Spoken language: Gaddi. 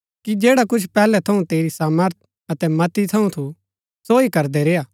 कि जैडा कुछ पैहलै थऊँ तेरी सामर्थ अतै मति थऊँ थू सो ही करदै रेय्आ